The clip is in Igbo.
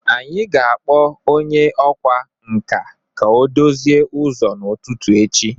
Anyị ga-akpọ onye ọkwá nkà ka ọ dozie ụzọ n'ụtụtụ echi